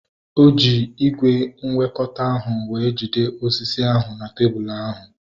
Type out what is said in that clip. Eji ígwè nwekọta ahu wee jide osisi ahu na tebụl ọrụ